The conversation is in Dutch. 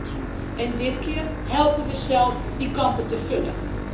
2010. En dit keer helpen we zelf die kampen te vullen.